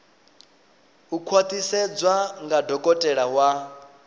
u khwaṱhisedzwa nga dokotela wa